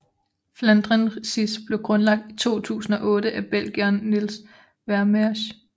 Flandrensis blev grundlagt i 2008 af belgieren Niels Vermeersch